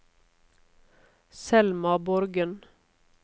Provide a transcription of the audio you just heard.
Selma Borgen